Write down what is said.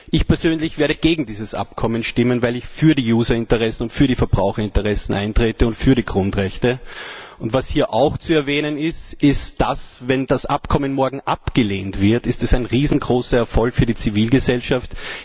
Ich persönlich werde gegen dieses Abkommen stimmen, weil ich für die Userinteressen, für die Verbraucherinteressen und für die Grundrechte eintrete. Hier auch zu erwähnen ist Folgendes Wenn das Abkommen morgen abgelehnt wird, ist das ein riesengroßer Erfolg für die Zivilgesellschaft.